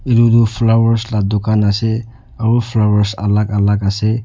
Etu tuh flowers la dukan ase aro flowers alak alak ase.